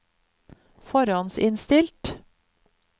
forhåndsinnstilt